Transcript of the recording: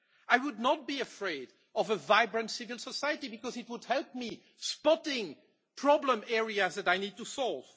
I would not be afraid of a vibrant civil society, because it would help me spot problem areas that I need to solve.